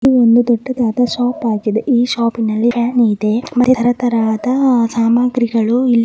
ಇದು ಒಂದು ದೊಡ್ಡದಾದ ಶಾಪ್ ಆಗಿದೆ ಈ ಶಾಪ್ ಆಲ್ಲಿ ಇದೆ ಮತ್ತೆ ತರಾ ತರ ಆದ ಸಾಮಾಗ್ರಿಗಳು ಇಲ್ಲಿ --